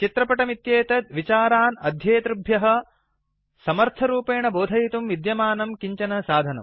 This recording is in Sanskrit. चित्रपटम् इत्येतत् विचारान् अध्येतृभ्यः समर्थरूपेण बोधयितुं विद्यमानं किञ्चन साधनम्